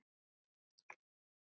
Ég skíri hann bara Rolu.